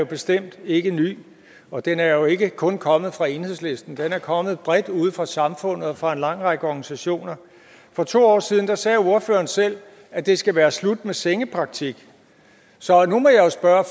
jo bestemt ikke ny og den er jo ikke kun kommet fra enhedslisten den er kommet bredt ude fra samfundet fra en lang række organisationer for to år siden sagde ordføreren selv at det skal være slut med sengepraktik så nu må jeg spørge